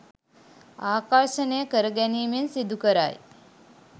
ආකර්ෂණය කරගැනීමෙන් සිදුකරයි.